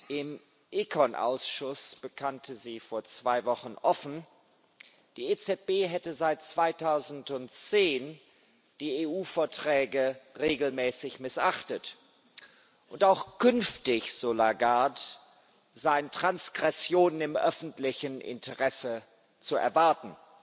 Im ECON Ausschuss bekannte sie vor zwei Wochen offen, die EZB hätte seit 2010 die EU Verträge regelmäßig missachtet, und auch künftig so Lagarde seien Transgressionen im öffentlichen Interesse zu erwarten.